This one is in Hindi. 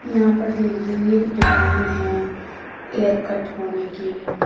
यहां पर देखिए ये एक दुकान है एयर कट होने की।